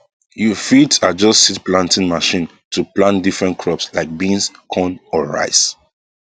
you fit adjust seed planting machine to plant different crops like beans corn or rice